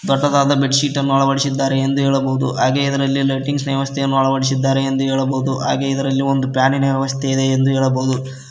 ದೊಡ್ಡದಾದ bed sheet ಅನ್ನು ಅಳವಡಿಸಿದ್ದಾರೆ ಎಂದು ಹೇಳಬಹುದು ಹಾಗೆ ಅದರಲ್ಲಿ ಲೈಟಿಂಗ್ಸ್ ವ್ಯವಸ್ಥೆ ಅಳವಡಿಸಿದ್ದಾರೆಂದು ಹೇಳಬಹುದು ಹಾಗೆ ಇದರಲ್ಲಿ ಒಂದು ಫ್ಯಾನಿ ನ ವ್ಯವಸ್ಥೆ ಇದೆ ಎಂದು ಹೇಳಬಹುದು.